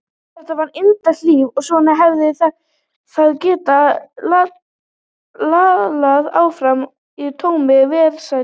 Þetta var indælt líf og svona hefði það getað lallað áfram í tómri velsæld.